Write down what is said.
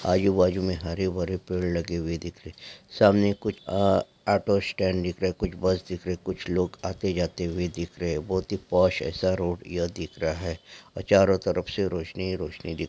आजू बाजू में हरे भरे पेड़ लगे हुए दिख रहे सामने कुछ आ ऑटो स्टैंड दिख रहे कुछ बस दिख रहे कुछ लोग आते जाते हुए दिख रहे हैं बहुत ही पास एसा रोड यह दिख रहा है और चारो तरफ से रोशनी ही रोशनी दी--